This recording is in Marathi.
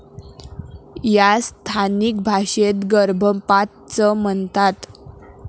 यास स्थानिक भाषेत 'गर्भपात' च म्हणतात